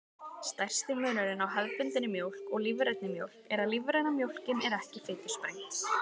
Stærsti munurinn á hefðbundinni mjólk og lífrænni mjólk er að lífræna mjólkin er ekki fitusprengd.